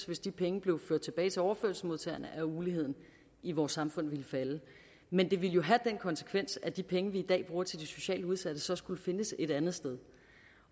hvis de penge blev ført tilbage til overførselsmodtagerne have uligheden i vores samfund ville falde men det ville jo også have den konsekvens at de penge vi i dag bruger til de socialt udsatte så skulle findes et andet sted